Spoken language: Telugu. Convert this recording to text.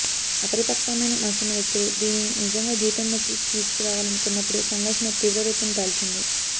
అపరిపక్వమైన మనసున్న వ్యక్తులు దీనిని నిజంగా జీవితంలోకి తీసుకురావాలనుకొన్నపుడే సంఘర్షణ తీవ్రరూపం దాల్చింది